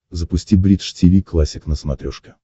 запусти бридж тиви классик на смотрешке